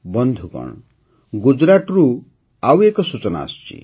ବନ୍ଧୁଗଣ ଗୁଜରାଟରୁ ଆଉ ଏକ ସୂଚନା ଆସିଛି